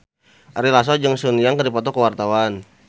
Ari Lasso jeung Sun Yang keur dipoto ku wartawan